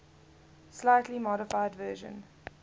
slightly modified version